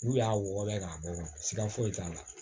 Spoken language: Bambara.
N'u y'a wɔgɔbɔ k'a bɔ siga foyi t'a la